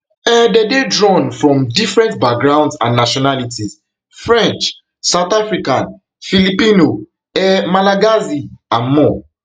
um dem dey drawn from different backgrounds and nationalities french south african filipino um malagasy and more